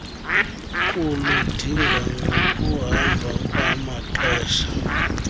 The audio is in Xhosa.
kuludinga ngokuhamba kwamaxesha